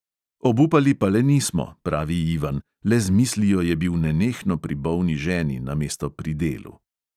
Obupali pa le nismo, pravi ivan, le z mislijo je bil nenehno pri bolni ženi namesto pri delu.